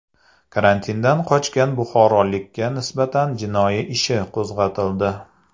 Karantindan qochgan buxorolikka nisbatan jinoyat ishi qo‘zg‘atildi.